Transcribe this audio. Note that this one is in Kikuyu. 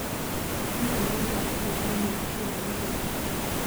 hĩhĩ nigugakorwo na ime ruciu mũthenya